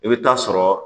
I bɛ taa sɔrɔ